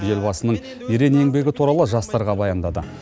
елбасының ерен еңбегі туралы жастарға баяндады